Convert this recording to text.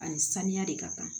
Ani saniya de ka kan